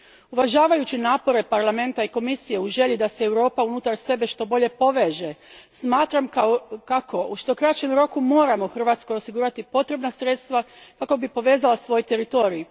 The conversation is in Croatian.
Uvažavajući napore Parlamenta i Komisije u želji da se Europa unutar sebe što bolje poveže, smatram kako u što kraćem roku moramo Hrvatskoj osigurati potrebna sredstva kako bi povezala svoj teritorij.